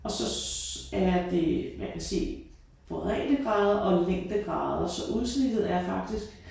Og så er det jeg kan se breddegrader og længdegrader så udsnittet er faktisk